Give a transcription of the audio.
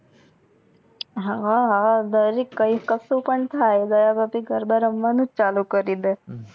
હા હા કઈ કસુ પણ થઈ દયા ભાભી ગરબા રમવાનું ચાલુ કરી દે